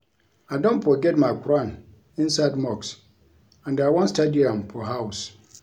I don forget my quran inside mosque and I wan study am for house